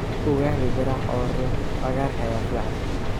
Ugali garaac oo riix cagaarka ayaa fiican.